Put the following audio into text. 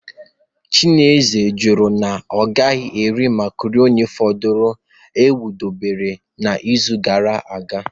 Chineze kwuru na ya agaghị eri makaroni fọdụrụnụ a kwadebere n'izu gara aga